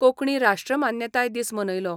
कोंकणी राश्ट्रमान्यताय दीस मनयलो.